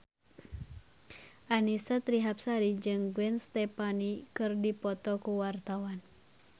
Annisa Trihapsari jeung Gwen Stefani keur dipoto ku wartawan